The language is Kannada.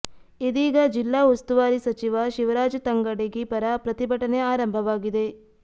ಇದೀಗ ಜಿಲ್ಲಾ ಉಸ್ತುವಾರಿ ಸಚಿವ ಶಿವರಾಜ ತಂಗಡಗಿ ಪರ ಪ್ರತಿಭಟನೆ ಆರಂಭವಾಗಿದೆ